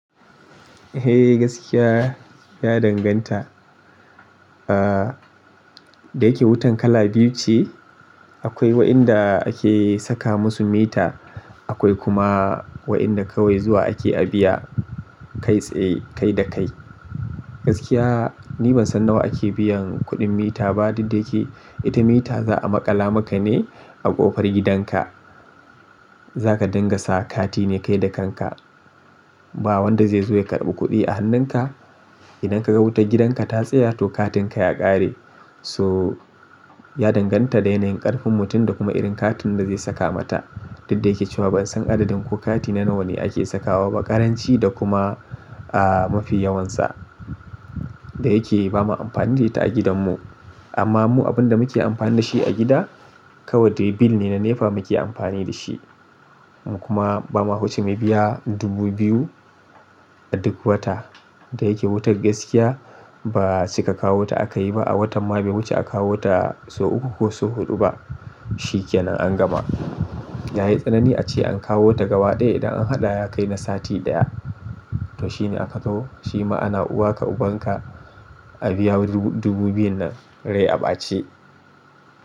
Eh gaskiya ya danganta. Ah, da yake wutan kala biyu ce. Akwai waɗanda ake saka musu mita, akwai kuma waɗanda kawai zuwa ake a biya kai tsaye kai da kai. Gaskiya ni ban san nawa ake biyan kuɗin mita ba, duk da yake ita mita za a maƙala maka ne a ƙofar gidanka. Za ka dingasa kati ne kai da kanka. Ba wanda zai zo ya karɓi kuɗi a hannunka. Idan ka ga wutar gidanka ta tsaya to katinka ya ƙare. So ya danganta da yanayin ƙarfin mutum da kuma irin katun da zai saka mata. Duk da yake cewa bansan adadin ko kati na nawa ne ake sawaba karanci da kuma a mafi yawansa da yake bama amfani da ita a gidanmu amma mu abin da muke amfani da shi a gida kawai da bil ne na NEPA muke amfani da shi. Mu kuma bamu huce mai biya dubu biyu a duk wata. Da yake wutar gaskiya ba cika kawo ta akayi ba. A watanma ba wuce a kawota sau ukku ko sau hudu bah shikenan angama. Da yayi tsanani ace ankawota gaba daya idan an hada yakai na sati daya to shine aka zo, shi ma ana uwa ka ubanka a biya dubu biyun nan rai a ɓace.